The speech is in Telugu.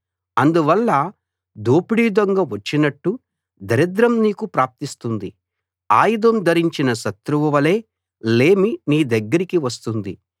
అందువల్ల దోపిడీ దొంగ వచ్చినట్టు దరిద్రం నీకు ప్రాప్తిస్తుంది ఆయుధం ధరించిన శత్రువు వలే లేమి నీ దగ్గరికి వస్తుంది